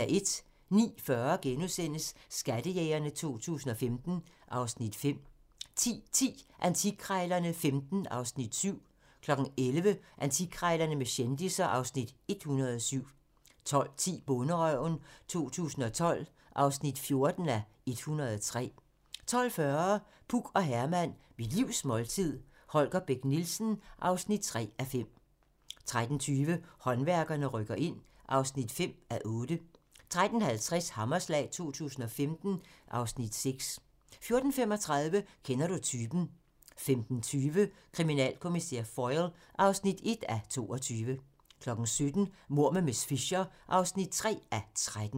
09:40: Skattejægerne 2015 (Afs. 5)* 10:10: Antikkrejlerne XV (Afs. 7) 11:00: Antikkrejlerne med kendisser (Afs. 107) 12:10: Bonderøven 2012 (14:103) 12:40: Puk og Herman - Mit livs måltid - Holger Bech Nielsen (3:5) 13:20: Håndværkerne rykker ind (5:8) 13:50: Hammerslag 2015 (Afs. 6) 14:35: Kender du typen? 15:20: Kriminalkommissær Foyle (1:22) 17:00: Mord med miss Fisher (3:13)